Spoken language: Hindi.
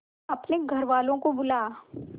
अपने घर वालों को बुला